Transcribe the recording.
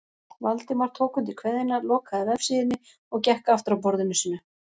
Valdimar tók undir kveðjuna, lokaði vefsíðunni og gekk aftur að borðinu sínu.